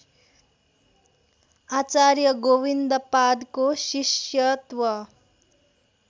आचार्य गोविन्दपादको शिष्यत्व